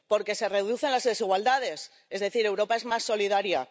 porque se reducen las desigualdades, es decir, Europa es más solidaria